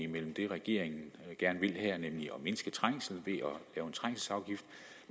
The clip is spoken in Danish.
mellem det regeringen gerne vil her nemlig at mindske trængsel